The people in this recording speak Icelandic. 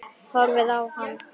Horfið á hann.